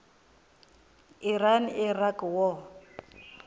iran iraq war